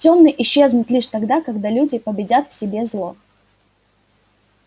тёмные исчезнут лишь тогда когда люди победят в себе зло